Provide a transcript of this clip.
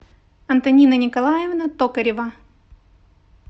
антонина николаевна токарева